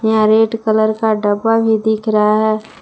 यहां red colour का डब्बा भी दिख रहा है।